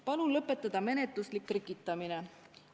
Palun lõpetada menetluslik trikitamine.